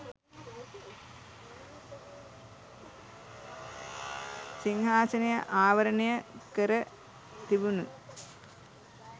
සිංහාසනය ආවරණය කැර තිබුණු